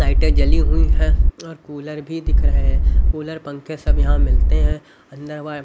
लाइटें जली हुई है और कूलर भी दिख रहे हैं कूलर पंखे सब यहां मिलते हैं अंदर बार--